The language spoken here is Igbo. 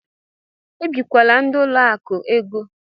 Ebikwala ndị ụlọ akụ égo!